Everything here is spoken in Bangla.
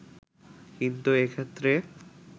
কিন্তু এক্ষেত্রে